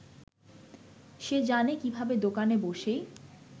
সে জানে কীভাবে দোকানে বসেই